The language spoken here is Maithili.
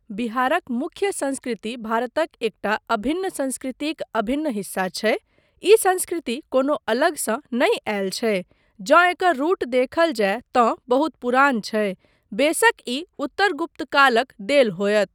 बिहारक मुख्य संस्कृति भारतक एकटा अभिन्न संस्कृतिक अभिन्न हिस्सा छै। ई संस्कृति कोनो अलगसँ नहि आयल छै, जँ एकर रुट देखल जाय तँ बहुत पुरान छै, बेसक ई उत्तर गुप्तकालक देल होयत।